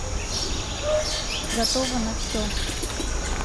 готова на все